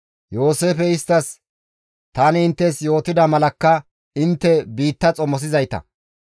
Yooseefey isttas, «Tani inttes yootida malakka intte biitta xomosizayta.